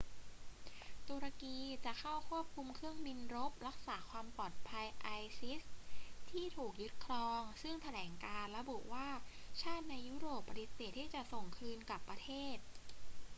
ตุรกีจะเข้าควบคุมเครื่องบินรบรักษาความปลอดภัย isis ที่ถูกยึดครอง ซึ่งแถลงการณ์ระบุว่าชาติในยุโรปปฏิเสธที่จะส่งคืนกลับประเทศ